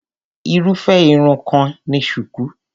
Irúfé Irun kan ni shuku.